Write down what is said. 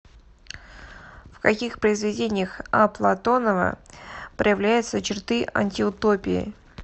в каких произведениях а платонова проявляются черты антиутопии